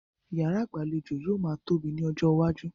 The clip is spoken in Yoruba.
Yàrá ìgbàlejò yóò máa tóbi ní ọjọ́ iwájú.